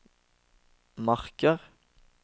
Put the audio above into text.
Marker